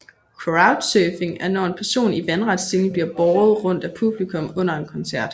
Crowd surfing er når en person i vandret stilling bliver båret rundt af publikum under en koncert